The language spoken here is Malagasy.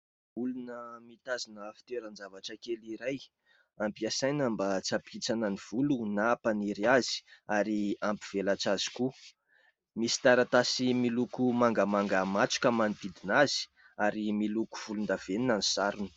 Olona mitazona fitoeran- zavatra kely iray, ampiasaina mba tsy hampihintsana ny volo na hampaniry azy ary hampivelatra azy koa, misy taratasy miloko mangamanga matroka manodidina azy ary miloko volondavenona ny sarony.